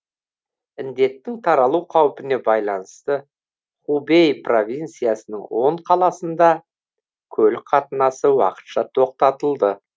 індеттің таралу қаупіне байланысты хубэй провинциясының он қаласында көлік қатынасы уақытша тоқтатылды